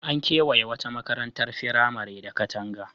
An kewaye wata makarantar firamare da katanga.